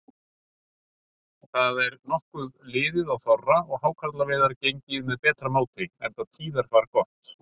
Það er nokkuð liðið á þorra og hákarlaveiðar gengið með betra móti, enda tíðarfar gott.